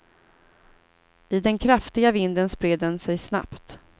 I den kraftiga vinden spred den sig snabbt.